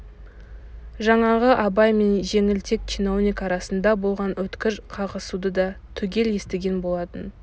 жаңағы абай мен жеңілтек чиновник арасында болған өткір қағысуды да түгел естіген болатын